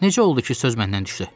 Necə oldu ki söz məndən düşdü?